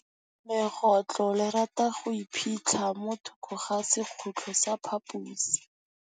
Legôtlô le rata go iphitlha mo thokô ga sekhutlo sa phaposi.